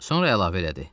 Sonra əlavə elədi: